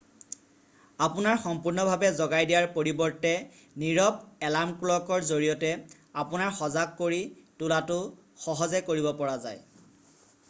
আপোনাৰ সম্পূৰ্ণভাৱে জগাই দিয়াৰ পৰিৱৰ্তে নীৰৱ এলাৰ্ম ক্লকৰ জৰিয়তে আপোনাৰ সজাগ কৰি তোলাটো সহজে কৰিব পৰা যায়